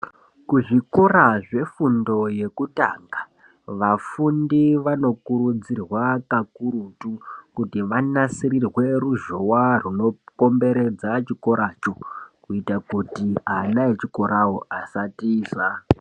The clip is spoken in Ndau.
Kuzvikora zvefundo yekutanga vafundi vanokurudzirwa kakurutu kuti vanasirirwe ruzhowa runokomberedza chikora cho kuita kuti ana echikorawo asatiza.